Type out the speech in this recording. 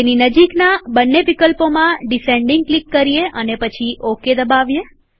તેની નજીકના બંને વિકલ્પોમાં ડીસેન્ડીંગ ક્લિક કરીએ અને પછી ઓકે દબાવીએ